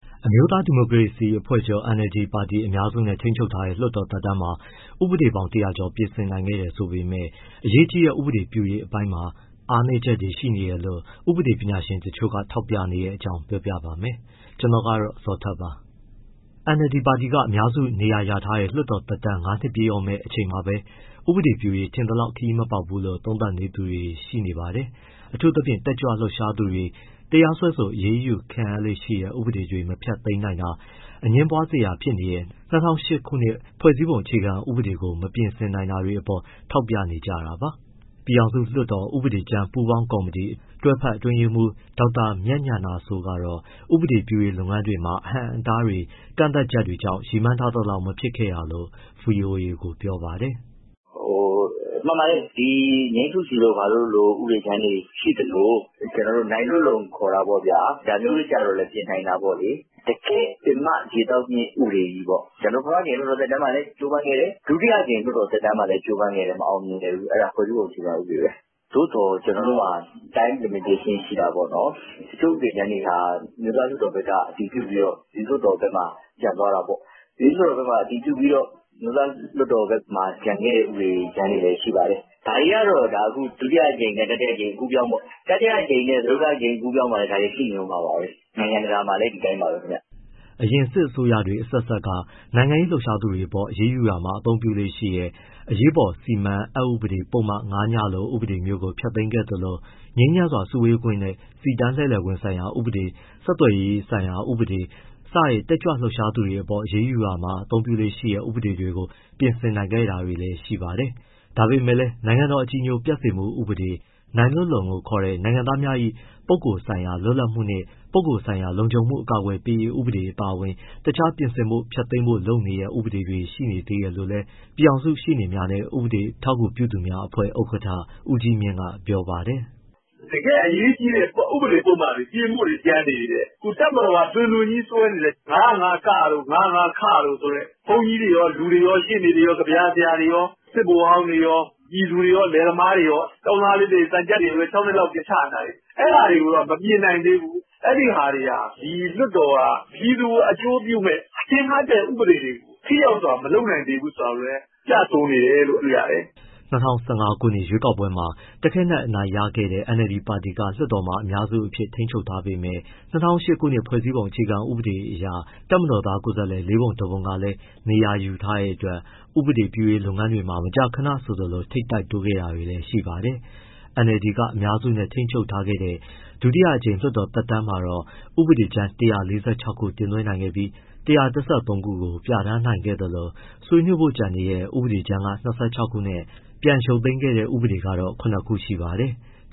အမျိုးသားဒီမိုကရေစီအဖွဲ့ချုပ် ပါတီက အများစုနဲ့ ထိန်းချုပ်ထားတဲ့ လွှတ်တော် သက်တမ်းမှာ ဥပဒေပေါင်း ၁၀၀ ကျော် ပြဋ္ဌာန်းနိုင်ခဲ့တယ်ဆိုပေမဲ့ အရေးကြီးတဲ့ ဥပဒေပြုရေး အပိုင်းတွေမှာ အားနည်းချက်တွေ ရှိနေတယ်လို့ ဥပဒေပညာရှင်တချို့က ထောက်ပြနေတဲ့အကြောင်းကို ဗွီအိုအေမြန်မာပိုင်းသတင်းထောက် ကိုဇော်ထက်က ပြောပြပေးပါမယ်။ NLD ပါတီက အများစုနေရာရထားတဲ့ လွှတ်တော်သက်တမ်း ၅ နှစ်ပြည့်တော့မယ့်အချိန်မှာပဲ ဥပဒေပြုရေးမှာ ထင်သလောက် ခရီးမပေါက်ဘူးလိ့ု သုံးသပ်သူတွေလည်း ရှိနေပါတယ်။ အထူးသဖြင့် တက်ကြွလှုပ်ရှားသူတွေ တရားစွဲဆို အရေးယူခံရလေ့ရှိတဲ့ ဥပဒေတွေ မဖျက်သိမ်းနိုင်တာ၊ အငြင်းပွားစရာဖြစ်နေရတဲ့ ၂၀၀၈ ခုနှစ် ဖွဲ့စည်းပုံအခြေခံဥပဒေကို မပြင်ဆင်နိုင်တာတွေအပေါ် ထောက်ပြနေကြတာပါ။ ပြည်ထောင်စုလွှတ်တော် ဥပဒေကြမ်းပူးပေါင်းကော်မတီ တွဲဖက်အတွင်းရေးမှူး ဒေါက်တာမြတ်ဉာဏစိုးကတော့ ဥပဒေပြုရေး လုပ်ငန်းတွေမှာ အဟန့်အတားတွေ ကန့်သတ်ချက်တွေကြောင့် ရည်မှန်းထားသလောက် မဖြစ်ခဲ့တာလို့ ဗွီအိုအေကို ပြောပါတယ်။ “မှန်ပါတယ်၊ ‘ ငြိမ်းစုစီ’ တို့လိုဥပဒေကြမ်းတွေ ရှိသလို၊ ကျနော်တို့ ‘ နိုင်လွတ်လုံ’ ခေါ်တာပေါ့ဗျာ ဒါမျိုးတွေကျတော့လည်း ပြင်နိုင်တာပေါ့။ တကယ့်ပင်မ ရေသောက်မြစ် ဥပဒေကြီးပေါ့ ကျနော်တို့ ပထမအကြိမ်လွှတ်တော် သက်တမ်းမှာလည်း ကြိုးပမ်းခဲ့တယ်၊ ဒုတိယအကြိမ် လွှတ်တော်သက်တမ်းမှာလည်း ကြိုးပမ်းခဲ့တယ် မအောင်မြင်ခဲ့ဘူး၊ အဲဒါ ဖွဲ့စည်းပုံအခြေခံဥပဒေပဲ။ သို့သော် ကျနော်တို့မှာ time limitation ရှိတာပေါ့နော်။ တချို့ဥပဒေကြမ်းတွေဟာ အမျိုးသားလွှတ်တော်ဘက်က အတည်ပြုပြီးတော့ ပြည်သူ့လွှတ်တော်ဘက်မှာ ကျန်သွားတာပေါ့။ ပြည်သူ့လွှတ်တော်ဘက်မှာ အတည်ပြုပြီးတော့ အမျိုးသားလွှတ်တော်ဘက်မှာ ကျန်ခဲ့တဲ့ဥပဒေကြမ်းတွေလည်း ရှိပါတယ်။ ဒါတွေကတော့ ဒုတိယအကြိမ်နဲ့ တတိယအကြိမ် အကူးအပြောင်းပေါ့၊ တတိယအကြိမ်နဲ့ စတုတ္ထအကြိမ် အကူးအပြောင်းမှာလည်း ဒါတွေကရှိနေဦးမှာပါပဲ။ နိုင်ငံတကာမှာလည်း ဒီအတိုင်းပါပဲခင်ဗျ။” အရင်စစ်အစိုးရတွေ အဆက်ဆက်က နိုင်ငံရေးလှုပ်ရှားသူတွေအပေါ် အရေးယူရာမှာ သုံးလေ့ရှိတဲ့ အရေးပေါ်စီမံမှု အက်ဥပဒေ ပုဒ်မ ၅ ည လို ဥပဒေမျိုးကို ဖျက်သိမ်းခဲ့သလို ငြိမ်းချမ်းစွာ စုဝေးခွင့်နဲ့ စီတန်းလှည့်လည်ခွင့်ဆိုင်ရာဥပဒေ ဆက်သွယ်ရေးဆိုင်ရာ ဥပဒေ စတဲ့ တက်ကြွလှုပ်ရှားသူတွေအပေါ် အရေးယူရာမှာ သုံးလေ့ရှိတဲ့ ဥပဒေတွေကို ပြင်ဆင်နိုင်ခဲ့တာတွေလည်း ရှိပါတယ်။ ဒါပေမဲ့လည်း နိုင်ငံတော် အကြည်ညိုပျက်စေမှု ဥပဒေ၊ ‘နိုင်လွတ်လုံ’ လို့ခေါ်တဲ့ နိုင်ငံသားများ၏ ပုဂ္ဂိုလ်ဆိုင်ရာ လွတ်လပ်မှုနှင့် ပုဂ္ဂိုလ်ဆိုင်ရာ လုံခြုံမှု အကာအကွယ်ပေးရေးဥပဒေ အပါအဝင် တခြား ပြင်ဆင်ဖို့ ဖျက်သိမ်းဖို့ လိုနေသေးတဲ့ ဥပဒေတွေ ရှိနေသေးတယ်လို့လည်း ပြည်ထောင်စုရှေ့နေများနဲ့ ဥပဒေအထောက်အကူပြုသူများအဖွဲ့ ဥက္ကဋ္ဌ ဦးကြီးမြင့်က ပြောပါတယ်။ “တကယ့်အရေးကြီးတဲ့ ဥပဒေပုဒ်မတွေ ပြင်ဖို့တွေ ကျန်နေသေးတယ်။ တပ်မတော်က တွင်တွင်ကြီးစွဲနေတဲ့ ၅၀၅ တို့၊ ၅၀၅ တို့ဆိုတဲ့ ဘုန်းကြီးတွေရော၊ လူတွေရော၊ ရှေ့နေတွေရော၊ ကဗျာဆရာတွေရော၊ စစ်ဗိုလ်ဟောင်းတွေရော၊ ပြည်သူတွေရော၊ လယ်သမားတွေရော၊ သံချပ်တွေကိုလည်း ၆ နှစ်လောက်ထိ ချနေတာတွေ၊ အဲဒါတွေကတော့ မပြင်နိုင်သေးဘူး၊ အဲဒီဟာတွေဟာ ဒီလွှတ်တော်က ပြည်သူကို အကျိုးပြုမယ့် ထင်ဟပ်တဲ့ ဥပဒေတွေကို ထိရောက်စွာမလုပ်နိုင်သေးဘူးဆိုတာကိုလည်း ပြဆိုနေတယ်လို့ တွေ့ရတယ်။” ၂၀၁၅ ခုနှစ် ရွေးကောက်ပွဲမှာ တခဲနက် အနိုင်ရခဲ့တဲ့ NLD ပါတီက လွှတ်တော်ထဲမှာ အများစုအဖြစ် ထိန်းချုပ်ထားပေမဲ့ ၂၀၀၈ ခုနှစ် ဖွဲ့စည်းပုံ အခြေခံဥပဒေအရ တပ်မတော်သား ကိုယ်စားလှယ် ၄ ပုံ ၁ ပုံ ကလည်း နေရာယူထားတဲ့အတွက် ဥပဒေပြုရေးလုပ်ငန်းတွေမှာ မကြာခဏ ထိပ်တိုက်တိုးခဲ့တာတွေလည်း ရှိပါတယ်။ NLD က အများစုနဲ့ ထိန်းချုပ်ခဲ့တဲ့ ဒုတိယအကြိမ် လွှတ်တော်သက်တမ်းမှာတော့ ဥပဒေကြမ်း ၁၄၆ ခု တင်သွင်းခဲ့ပြီး၊ ၁၁၃ ခုကို ပြဋ္ဌာန်းနိုင်ခဲ့သလို ဆွေးနွေးဖို့ကျန်နေတဲ့ ဥပဒေကြမ်းက ၂၆ ခုနဲ့ ပြန်ရုပ်သိမ်းခဲ့တဲ့ဥပဒေက တော့ ခုနစ် ခုရှိပါတယ်။